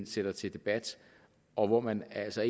sætter til debat og hvor man altså